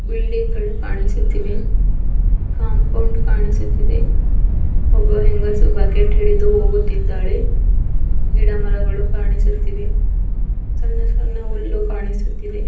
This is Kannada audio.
ಬಿಲ್ಡಿಂಗ್ ಗಳು ಕಾಣಿಸುತ್ತಿವೆ ಕಾಂಪೋಂಡ್ ಕಾಣಿಸುತ್ತಿದೆ ಒಬ್ಬ ಹೆಂಗಸು ಬಕೆಟ್ ಹಿಡಿದು ಹೋಗುತ್ತಿದ್ದಾಳೆ ಗಿಡ ಮರಗಳು ಕಾಣಿಸುತ್ತಿವೆ ಸಣ್ಣ ಸಣ್ಣ ಹುಲ್ಲು ಕಾಣಿಸುತ್ತಿವೆ.